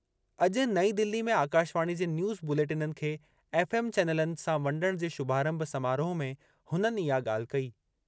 अॼु नईं दिल्ली में आकाशवाणी जे न्यूज़ बुलेटिननि खे एफ़एम चैनलनि सां वंडण जे शुभारंभ समारोह में हुननि इहा ॻाल्हि कई।